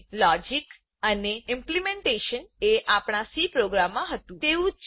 logic અને implementation implementation એ આપણા સી પ્રોગ્રામ માં હતું તેવું જ છે